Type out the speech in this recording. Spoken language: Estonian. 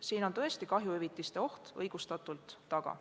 Siin on tõesti kahjuhüvitiste oht õigustatult taga.